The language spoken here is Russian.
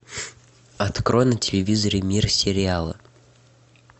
открой на телевизоре мир сериала